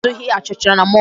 Ha azụghị achịcha na mall